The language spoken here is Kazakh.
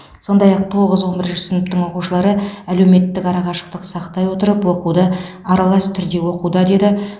сондай ақ тоғыз он бірінші сыныптың оқушылары әлеуметтік ара қашықтық сақтай отырып оқуды аралас түрде оқуда деді